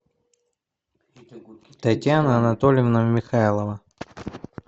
татьяна анатольевна михайлова